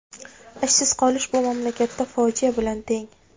Ishsiz qolish bu mamlakatda fojia bilan teng.